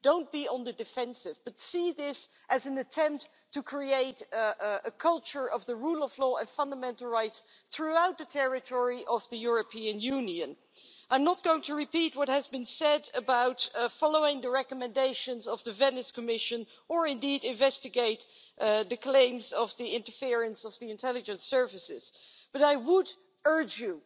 Don't be on the defensive, but see this as an attempt to create a culture of the rule of law and fundamental rights throughout the territory of the European Union. I'm not going to repeat what has been said about following the recommendations of the Venice Commission or investigate the claims of interference by the intelligence services, but I would urge you